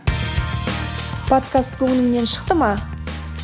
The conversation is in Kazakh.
подкаст көңіліңнен шықты ма